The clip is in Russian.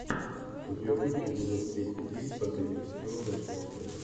у тебя будет эпизод тридцать девять последнего сезона ночная смена